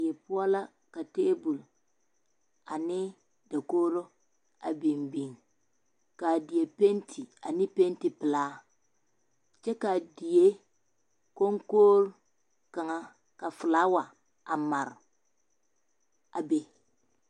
Die poɔ la ka table ane dakogro a biŋ biŋ ka a die penti ane pentipelaa kyɛ ka a die koŋkogre kaŋa ka filaawa a mare a be